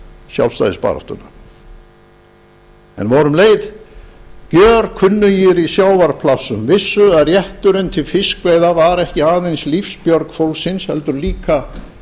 sjálfstæðisbaráttu íslendinga en voru um leið gjörkunnugir í sjávarplássum vissu að rétturinn til fiskveiða var ekki aðeins lífsbjörg fólksins heldur líka